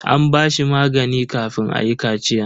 An ba shi magani kafin ayi kachiyan.